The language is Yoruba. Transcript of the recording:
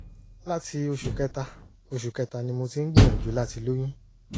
láti oṣù kẹta oṣù kẹta ni mo ti ń gbìyànjú láti lóyún